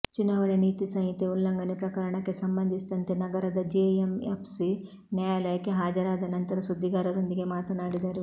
ಚುನಾವಣೆ ನೀತಿ ಸಂಹಿತೆ ಉಲ್ಲಂಘನೆ ಪ್ರಕರಣಕ್ಕೆ ಸಂಬಂಧಿಸಿದಂತೆ ನಗರದ ಜೆಎಂಎಫ್ಸಿ ನ್ಯಾಯಾಲಯಕ್ಕೆ ಹಾಜರಾದ ನಂತರ ಸುದ್ದಿಗಾರರೊಂದಿಗೆ ಮಾತನಾಡಿದರು